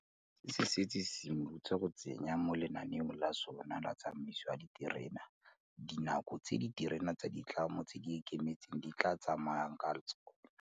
Se setse se simolotse go tsenya mo lenaneong la sona la tsamaiso ya diterene dinako tse diterene tsa ditlamo tse di ikemetseng di tla tsamayang ka tsona.